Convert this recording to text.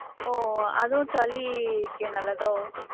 ஒ! அதுவும் சளிக்கு நல்லதோ?